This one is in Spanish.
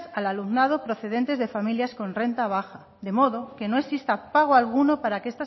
al alumnado procedentes de familias con renta baja de modo que no exista pago alguno para que